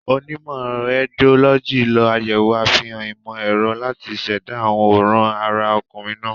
Onímọ̀ Rédiólọ́jì lo àyẹ̀wò àfihàn ìmọ̀ ẹ̀rọ láti ṣẹ̀dá àwòrán ara ọkùnrin náà.